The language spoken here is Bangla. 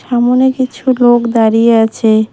সামোনে কিছু লোক দাঁড়িয়ে আছে।